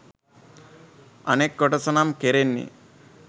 අනෙක් කොටස නම් කෙරෙන්නේ